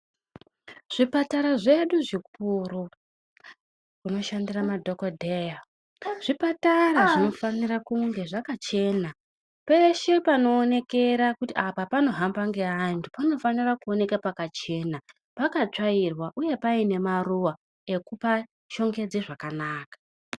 Zvipatara zvedu zvikuru zvinoshandira madhogodheya, zvipatara zvinofanire kunge zvakachena peshe panoonekera kuti apa panohamba ngeandu panofanira kuoneka pakachena pakatsvairwa uye paine maruwa ekupashongedze zvakanaka.